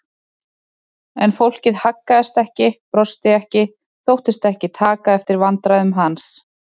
En fólkið haggaðist ekki, brosti ekki, þóttist ekki taka eftir vandræðum hans.